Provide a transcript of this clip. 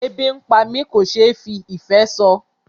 Ebi ń pá mi kò ṣe fí ìfé sọ.